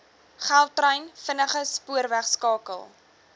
gautrain vinnige spoorwegskakel